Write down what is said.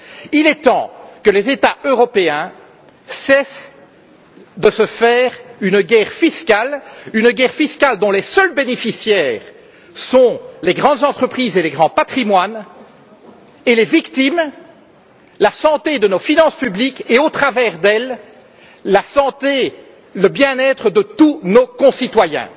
Il est temps que les États européens cessent de se faire une guerre fiscale dont les seuls bénéficiaires sont les grandes entreprises et les grands patrimoines, et les victimes, la santé de nos finances publiques et à travers elles, la santé et le bien être de tous nos concitoyens.